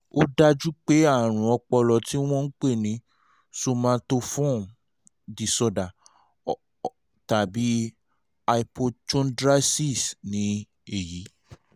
ó dájú pé àrùn ọpọlọ tí wọ́n ń pè ní somatoform disorder or hypochondriasis ni èyí